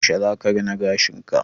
Yaushe zaka rina gashinka?